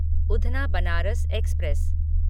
Udhna Banaras express